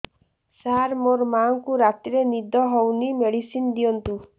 ସାର ମୋର ମାଆଙ୍କୁ ରାତିରେ ନିଦ ହଉନି ମେଡିସିନ ଦିଅନ୍ତୁ